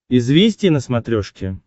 известия на смотрешке